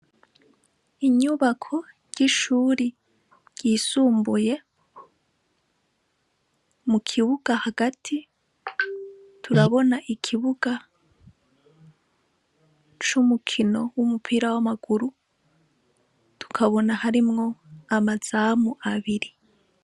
Inyubako ry'ishuri ryisumbuye, mukibuga hagati, turabona ikibuga c'umukino w'umupira w'amaguru, tukabona harimwo amazamu abiri.